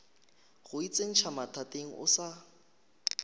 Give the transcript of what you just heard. go itsentšha mathateng o sa